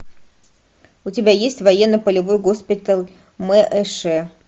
у тебя есть военно полевой госпиталь мэш